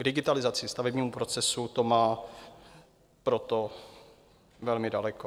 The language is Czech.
K digitalizaci stavebního procesu to má proto velmi daleko.